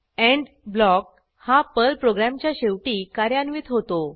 end block हा Perl प्रोग्रॅमच्या शेवटी कार्यान्वित होतो